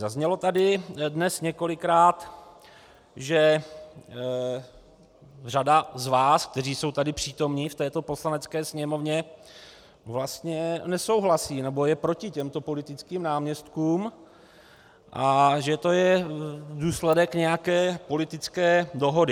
Zaznělo tady dnes několikrát, že řada z vás, kteří jsou tady přítomni v této Poslanecké sněmovně, vlastně nesouhlasí nebo je proti těmto politickým náměstkům a že to je důsledek nějaké politické dohody.